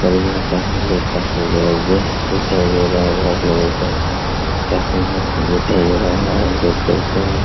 बढ़िया काम है लोग काम पे जबरदस्त दिखाई दे रहा होगा आपलोगों को काफी मस्त दिखाई दे रहा होगा देख सकते हैं।